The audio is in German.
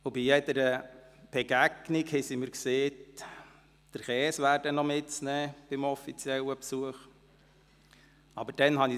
Auch wurde mir bei jeder Begegnung gesagt, es wäre noch der Käse für den offiziellen Besuch mitzunehmen.